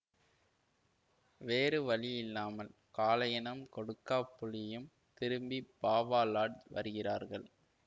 வேறு வழி இல்லாமல் காளையனும் கொடுக்காப்புளியும் திரும்பி பாவா லாட்ஜ் வருகிறார்கள்